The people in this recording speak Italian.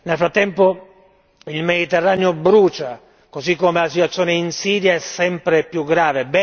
Nel frattempo il Mediterraneo brucia, così come la situazione in Siria è sempre più grave.